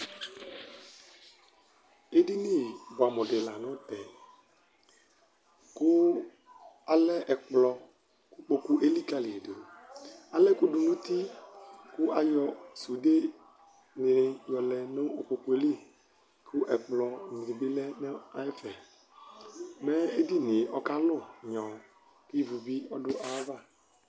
edini boɛ amo di lantɛ kò alɛ ɛkplɔ ikpoku elikali do ala ɛkò do n'uti kò ayɔ sude ni yɔlɛ no ikpokue li kò ɛkplɔ ni bi lɛ no ɛfɛ mɛ edinie ɔkalu nyɔ kò ivu bi ɔdu ay'ava